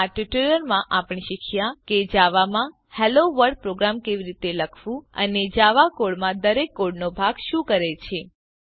આ ટ્યુટોરીયલમાં આપણે શીખ્યાં કે જાવા માં હેલોવર્લ્ડ પ્રોગ્રામ કેવી રીતે લખવું અને જાવા કોડ માં દરેક કોડનો ભાગ શું કરે છે